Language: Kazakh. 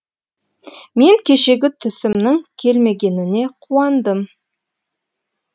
мен кешегі түсімнің келмегеніне қуандым